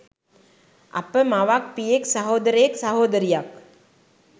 අප මවක්, පියෙක්, සහෝදරයෙක්, සහෝදරියක්,